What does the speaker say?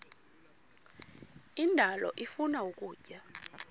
indalo ifuna ukutya